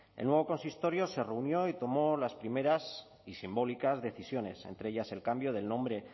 el nuevo consistorio se reunió y tomó las primeras y simbólicas decisiones entre ellas el cambio del nombre